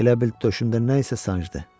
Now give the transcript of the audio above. Elə bil döşümdə nəsə sancdı.